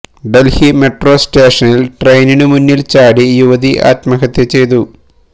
Delhi metro സ്റ്റേഷനില് ട്രെയിനു മുന്നില് ചാടി യുവതി ആത്മഹത്യ ചെയ്തു